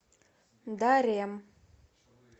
дарем